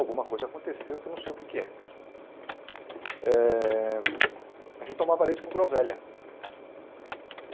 Alguma coisa aconteceu que eu não sei o queé que é. Eh a gente tomava leite com groselha.